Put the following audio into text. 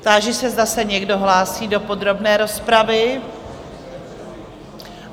Táži se, zda se někdo hlásí do podrobné rozpravy?